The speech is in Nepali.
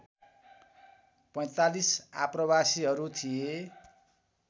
४५ आप्रवासीहरू थिए